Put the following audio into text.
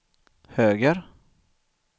höger